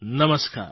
નમસ્કાર